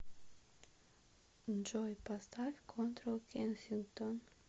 джой поставь контрол кенсингтон